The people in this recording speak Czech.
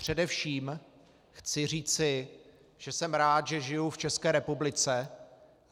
Především chci říci, že jsem rád, že žiju v České republice.